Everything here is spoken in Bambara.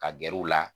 Ka gɛr'u la